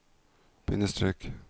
bindestrek